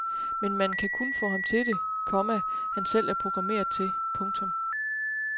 Men man kan kun få ham til det, komma han selv er programmeret til. punktum